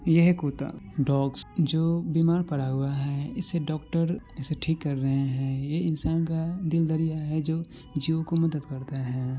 ये है कूता डॉग्स जो बीमार पड़ा हुआ है इसे डॉक्टर इसे ठीक कर रहा हैं ये इंसान का दिल दरिया है जो जीवो को मदद करता है।